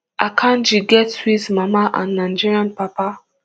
akanji get swiss mama and nigerian papa